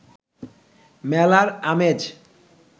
মেলার আমেজ